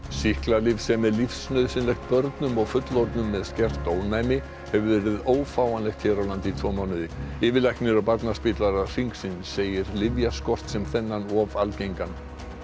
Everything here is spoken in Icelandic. sýklalyf sem er lífsnauðsynlegt börnum og fullorðnum með skert ónæmi hefur verið ófáanlegt hér á landi í tvo mánuði yfirlæknir á Barnaspítala Hringsins segir lyfjaskort sem þennan of algengan